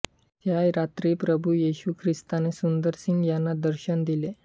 त्या रात्री प्रभु येशू ख्रिस्ता ने सुंदर सिंग यांना दर्शन दिले